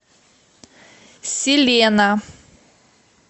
селена